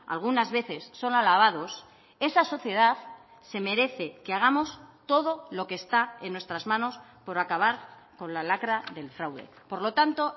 algunas veces son alabados esa sociedad se merece que hagamos todo lo que está en nuestras manos por acabar con la lacra del fraude por lo tanto